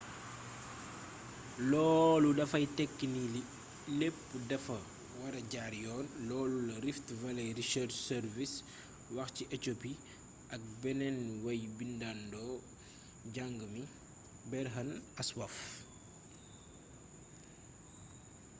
loolu dafay tekki ni lépp dafa wara jaar yoon loolu la rift valley research service wax ci éthiopie ak benn way-bindandoo jàng mi berhane asfaw